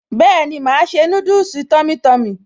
Bẹ́ẹ̀ni màá ṣe núdùsì tummy tummy